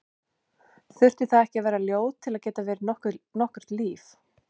Þyrfti það ekki að vera ljóð til að geta verið nokkurt líf?